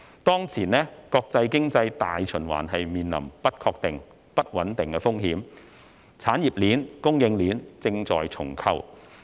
當前，國際經濟大循環面臨不確定、不穩定風險，產業鏈、供應鏈正在重構。